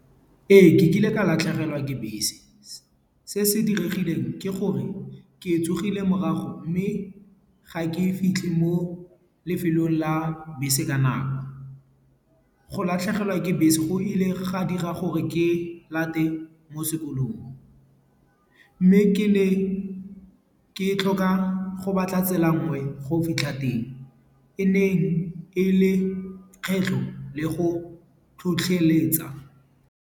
Ee, ke kile ka latlhegelwa ke bese. Se se diregileng ke gore ke tsogile morago. Mme ga ke fitlhe mo lefelong la bese ka nako. Go latlhegelwa ke bese go ile ga dira gore ke nne lata ko sekolong. Mme ke ne ke tlhoka go batla tsela nngwe go fitlha teng. E ne e le kgetlho le go tlhotlheletsa.